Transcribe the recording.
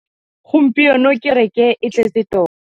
Gompieno kêrêkê e ne e tletse tota.